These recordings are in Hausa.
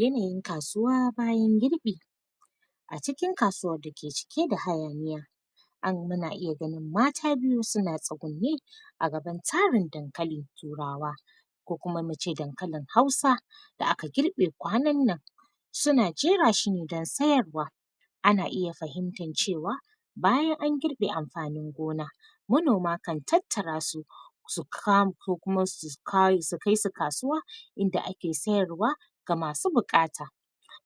Yanayin kasuwa bayan girbi a cikin kasuwa da ke cike da hayaniya an muna iya gani mata biyu su na tsagunne a gaban tsarin dankalin turarwa ko kuma mu ce dankalin hausa da aka girbe kwanan nan. Su na jera shi ne dan sayarwa ana iya fahinta cewa bayan a girbe amfanin gona manoma kan tattara su su kan, ko kuma su ka, su kai su kasuwa inda ake sayarwa, ga masu bukata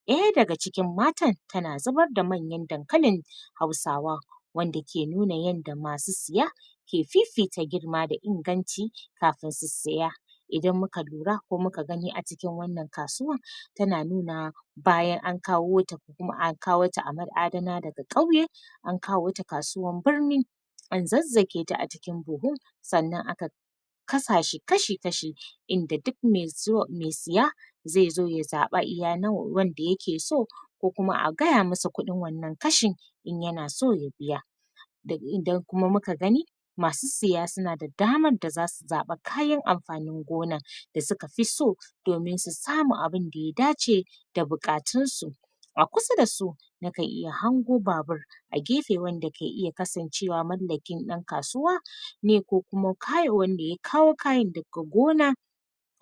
daya da ga cikin matan, ta na zubar da manyan dankalin hausawa wanda ke nuna yanda masu siya ke fifita girma da inganci kafun su siya idan mu ka lura ko mu ka gani a cikin wannan kasuwan ta na nunawa bayan an kawo ta ko kuma an kawo ta a nan adana da ga kauye an kawo ta kasuwan birni an zazage ta a cikin buhun, sanan a ka kasace kashi-kashi, inda duk mai zuwa, siya zai zo ya zaba iya nawa wanda ya ke so ko kuma a gaya masa, kudin wannan kashin in yana so ya biya da idan kuma mu ka gani masu siya su na da damar da za su zaba kayan amfanin gona da suka fi so domin su samu abunda ya dace da bukatun su a kusa dasu, na kan iya hango babur a gefe wanda ke iya kasancewa mallakin dan kasuwa ne ko kuma kayarwan da ya kawo kayan da ga gona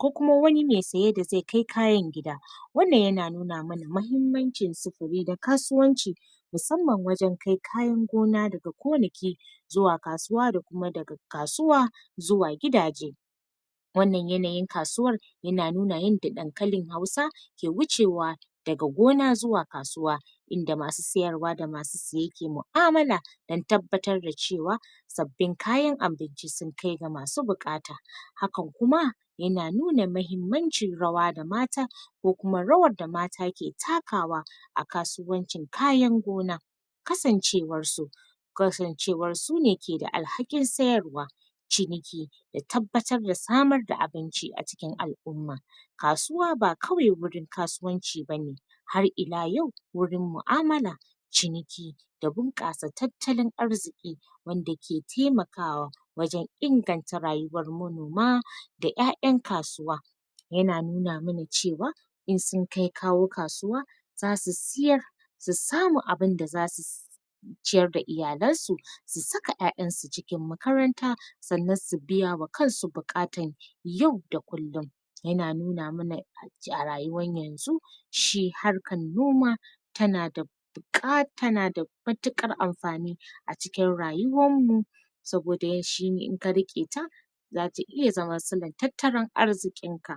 ko kuma wani mai tsaye da zai kai kayan gida. Wannan ya na nuna mana mahimmancin tsukuri da kasuwanci musamman wajen kai kayan gona da ga gonaki zuwa kasuwa da kuma da ga kasuwa zuwa gidaje wannar yanayin kasuwar yana nuna yanda damkalin hausa, ke wuce wa daga gona zuwa kasuwa inda masu siyarwa da masu siya ke ma'amula dan tabbatar da cewa sabbin kayan abinci sun kai ga masu bukata hakan kuma ya na nuna mahimmancin rawa da mata ko kuma rawar da mata ke takawa a kasuwancin kayan gona kasancewar su kasancewar su ne ke da al'hakin sayarwa, ciniki da tabbatar da samar da abinci a cikin al'umma. Kasuwa ba kawai wurin kasuwanci bane har ina yau, wurin mu'amala ciniki da bunkasa tattalin arziki wanda ke taimakawa wajen inganta rayuwar manoma da ƴaƴan kasuwa. Ya na nuna mana cewa, in sun kai kawo kasuwa za su siyar su samu abunda za su ciyar da iyalen su su saka ƴaƴan su cikin makaranta tsannan su biya wa kansu bukatan yau da kullum. Ya na nuna mana a rayuwar yanzu shi harkan noma ta na da buka, ta na da matukar amfani a cikin rayuwar mu saboda yanshi, in ka rike ta za ta iya zama silantataran arzikin ka.